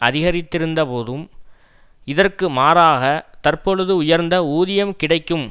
அதிகரித்திருந்தபோதும் இதற்கு மாறாக தற்பொழுது உயர்ந்த ஊதியம் கிடைக்கும்